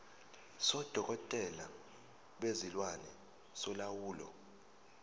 sodokotela bezilwane solawulo